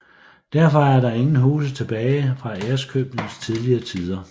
Derfor er der ingen huse tilbage fra Ærøskøbings tidlige tider